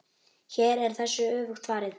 Hér er þessu öfugt farið.